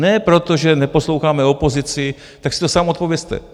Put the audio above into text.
Ne proto, že neposloucháme opozici, tak si to sám odpovězte.